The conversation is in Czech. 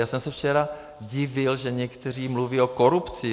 Já jsem se včera divil, že někteří mluví o korupci.